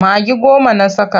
Magi goma na saka.